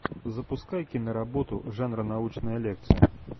запускай киноработу жанра научная лекция